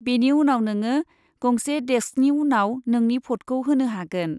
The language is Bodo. बेनि उनाव, नोङो गंसे डेस्कनि उनाव नोंनि भटखौ होनो हागोन।